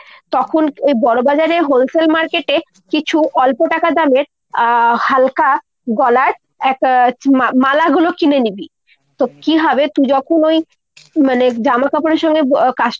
তখন ওই বড়বাজারে wholesale market এ কিছু অল্প টাকা দামের আহ হালকা গলার এক মালাগুলো কিনে নিবি। তো কী হবে তুই যখন ওই মানে জামাকাপড়ের সঙ্গে